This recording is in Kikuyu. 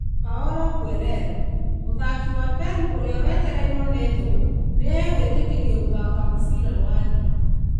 Paolo Guerrero: Mũthaki wa Peru ũrĩa wateteirwo nĩ thũ nĩ guĩtĩkĩrio gũthaaka mũbira wa thĩ.